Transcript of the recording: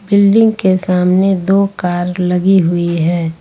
Building के सामने दो कार लगी हुई है।